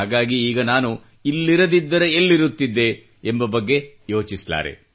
ಹಾಗಾಗಿ ಈಗ ನಾನು ಇಲ್ಲಿರದಿದ್ದರೆ ಎಲ್ಲಿರುತ್ತಿದ್ದೆ ಎಂಬ ಬಗ್ಗೆ ಯೋಚಿಸಲಾರೆ